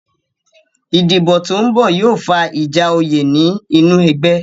Ìdìbò tó ń bọ̀ yóò fa ìjà oyè ní inú ẹgbẹ́